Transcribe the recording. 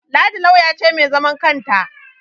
Ladi lauyan ce mai zaman kanta